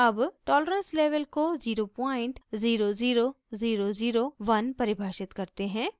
अब tolerance level को 000001 परिभाषित करते हैं